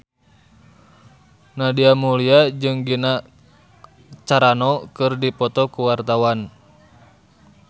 Nadia Mulya jeung Gina Carano keur dipoto ku wartawan